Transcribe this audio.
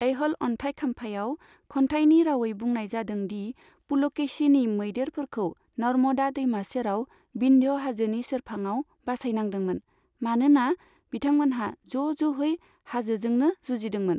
ऐह'ल अन्थाइ खाम्फायाव खन्थाइनि रावै बुंनाय जादों दि पुलकेशीनि मैदेरफोरखौ नर्मदा दैमा सेराव विन्ध्य हाजोनि सेरफाङाव बासायनांदोंमोन, मानोना बिथांमोनहा ज' ज'है हाजोजोंनो जुजिदोंमोन।